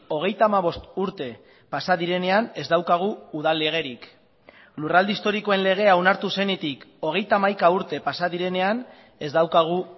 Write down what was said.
hogeita hamabost urte pasa direnean ez daukagu udal legerik lurralde historikoen legea onartu zenetik hogeita hamaika urte pasa direnean ez daukagu